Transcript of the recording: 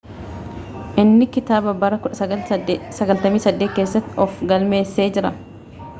inni kitaaba bara 1998 keessatti of galmeessee jira